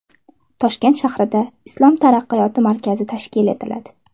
Toshkent shahrida Islom taraqqiyot markazi tashkil etiladi.